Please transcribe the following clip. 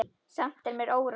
Samt er mér órótt.